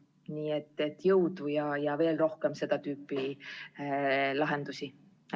Nii et jõudu ja veel rohkem seda tüüpi lahendusi!